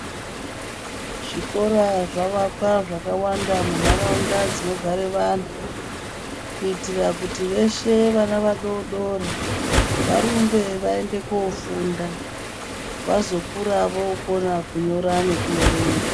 Zvikora zvavakwa zvakawanda muntaraunda dzinogare vanhu kuitira kuti veshe vana vadodori , varumbe vaende koofunda vazokura vookona kunyora nekuerenga.